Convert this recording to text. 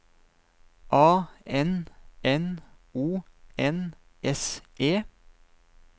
A N N O N S E